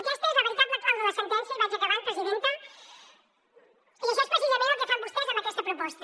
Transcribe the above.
aquesta és la veritable clau de la sentència i vaig acabant presidenta i això és precisament el que fan vostès amb aquesta proposta